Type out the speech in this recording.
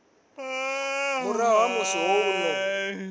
murahu ha musi ho no